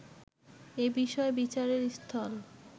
এ বিষয় বিচারের স্থল